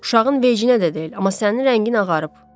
Uşağın deyəcəyinə də deyil, amma sənin rəngin ağarıb.